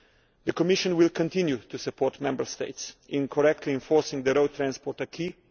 The Commission will continue to support Member States in correctly enforcing the road transport acquis.